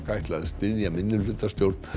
ætla að styðja minnihlutastjórn